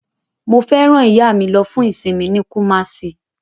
Mo fẹ́ rán ìyá mi lo fún ìsinmi ní Kumasi